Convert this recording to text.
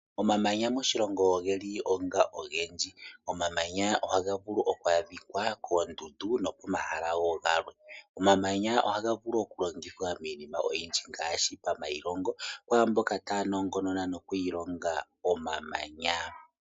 Omamanya moshilongo oge li onga ogendji. Omamanya ohaga vulu oku adhika koondundu nokomahala wo galwe. Omamanya ohaga vulu okulongithwa miinima oyindji ngaashi pamailongo kwaa mboka tay anongonona noku ilonga omamanya.